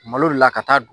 Malo de la ka taa